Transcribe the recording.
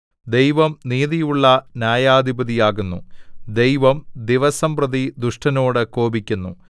ദൈവം നീതിയുള്ള ന്യായാധിപതിയാകുന്നു ദൈവം ദിവസംപ്രതി ദുഷ്ടനോട് കോപിക്കുന്നു